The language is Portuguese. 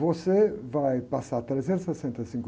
Você vai passar trezentos e sessenta e cinco